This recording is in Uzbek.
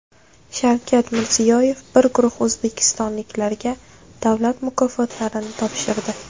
Shavkat Mirziyoyev bir guruh o‘zbekistonliklarga davlat mukofotlarini topshirdi.